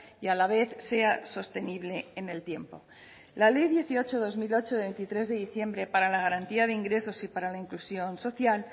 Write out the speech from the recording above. y a la vez sea sostenible en el tiempo la ley dieciocho barra dos mil ocho de veintitrés de diciembre para la garantía de ingresos y para la inclusión social